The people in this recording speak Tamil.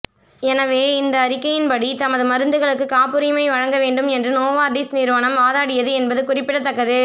எனவே இந்த அறிக்கையின்படி தமது மருந்துகளுக்கு காப்புரிமை வழங்கவேண்டும் என்று நோவார்டிஸ் நிறுவனம் வாதாடியது என்பது குறிப்பிடத்தக்கது